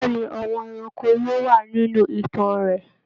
Bẹ̀ẹ́ni, àwọn ẹranko yóò wà nínú ìtàn rẹ.